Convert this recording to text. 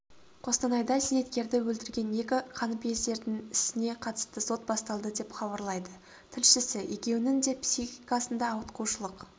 қостанайда зейнеткерді өлтірген екі қаныпезердің ісіне қатысты сот басталды деп хабарлайды тілшісі екеуінің де психикасында ауытқушылық